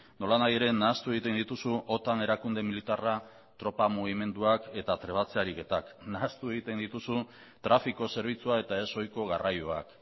nola nahi ere nahastu egiten dituzu otan erakunde militarra tropa mugimenduak eta trebatze ariketak nahastu egiten dituzu trafiko zerbitzua eta ez ohiko garraioak